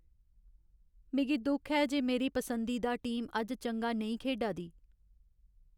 मिगी दुख ऐ जे मेरी पसंदीदा टीम अज्ज चंगा नेईं खेढा दी।